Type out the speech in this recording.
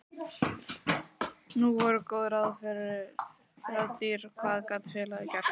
Nú voru góð ráð dýr og hvað gat félagið gert?